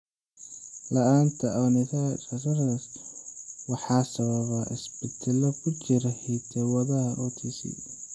La'aanta Ornithine transcarbamylase (OTC) waxaa sababa isbeddellada ku jira hidda-wadaha OTC.